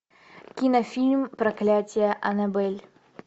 кинофильм проклятье анабель